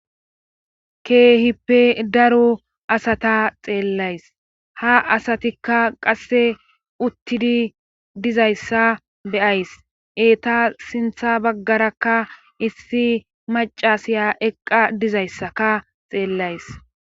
Keehippe daru asata xeellays ha asatikka qasse uttidi dizayssa beyays eeta sintha baggarakka issi macasiya eqqa dizayssaka xeellays.